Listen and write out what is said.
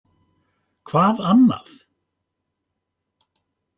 Hvað annað?!